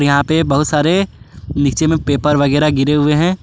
और यहां पे बहुत सारे नीचे में पेपर वगैरा गिरे हुए है।